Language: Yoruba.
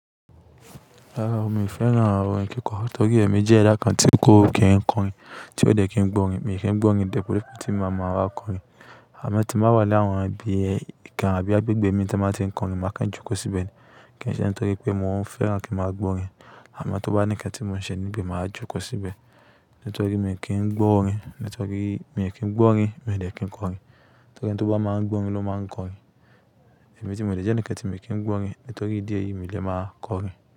Rárá o, mi ò fẹ́ràn àwọn ohun ìkẹ́kọ̀ọ́ torí èmi jẹ́ ẹ̀dà kan tí kó kì ń kọrin, tí ó dẹ̀ kí ń gbọ́ orin. Èmi kì ń gbọ́ orin de bi wipe, tí màa ma wa kọrin. Àmọ́ tí n wà ní àwọn bi ibikan àbí agbègbè mi tí wọ́n máa ń tí ń kọrin, màá kan jókòó síbẹ̀ ni. Kì í ṣe nítorí pé mo fẹ́ràn kí n máa gbọ́ orin. Àmọ́ tó bá ní ǹkan tí mo ń ṣe níbẹ̀, màá jókòó síbẹ̀. Nítorí mii kì ń gbọ́ orin, nítorí mi ò kí ń gbọ́ orin, mi ò dẹ̀ kí ń kọrin. Nítorí eni ti o bá máa ń gbọ́ orin ló máa ń kọrin. Èmi ti mò de jẹ́ ǹ enikan tí mii kì ń gbọ́ orin, nítorí ìdí èyí mi lè máa kọrin.